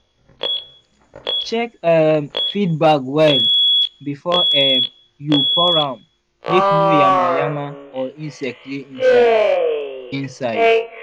check um feed bag well before um you pour am make no yama-yama or insect dey inside. inside.